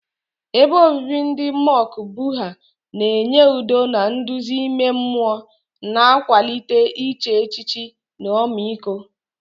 Ebe obibi ndị mọnk Buddha na-enye udo na nduzi ime mmụọ, na-akwalite iche echiche na ọmịiko.